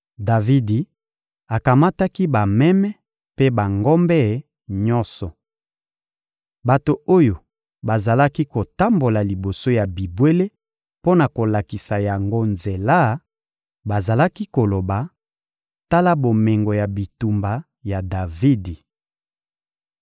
Davidi akamataki bameme mpe bangombe nyonso. Bato oyo bazalaki kotambola liboso ya bibwele mpo na kolakisa yango nzela bazalaki koloba: «Tala bomengo ya bitumba ya Davidi.»